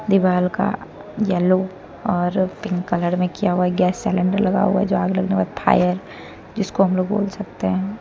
दीवाल का येल्लो और पिंक कलर में किया हुआ है गैस सीलिंडर लगा हुआ है जो आग लगने के बाद फायर जिसको हम बोल सकते हैं।